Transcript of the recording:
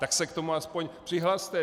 Tak se k tomu aspoň přihlaste.